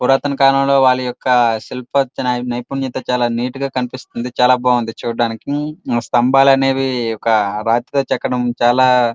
పురాతన కాలంలో వాలా యొక్క శిల్ప నైపుణ్యత చాల నీట్ గా కనిపిస్తుంది. చాల బాగుంది చుడానికి స్థంబాలు అనేవి ఒక రాతితో చెక్కడం చాల --